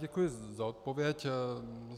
Děkuji za odpověď.